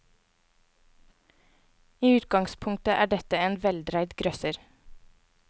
I utgangspunktet er dette en veldreid grøsser.